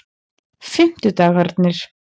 fimmtudagarnir